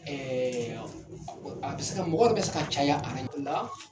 a bɛ se ka mɔgɔw bɛ se ka caya aran dɔ la.